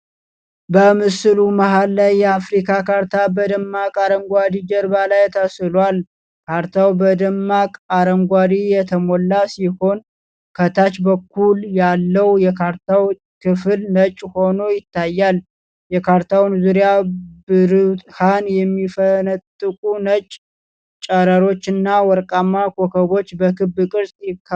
በምስሉ መሃል ላይ የአፍሪካ ካርታ በደማቅ አረንጓዴ ጀርባ ላይ ተስሏል። ካርታው በደማቅ አረንጓዴ የተሞላ ሲሆን፣ ከታች በኩል ያለው የካርታው ክፍል ነጭ ሆኖ ይታያል። የካርታውን ዙሪያ ብርሃን የሚፈነጥቁ ነጭ ጨረሮች እና ወርቃማ ኮከቦች በክብ ቅርጽ ከበውታል።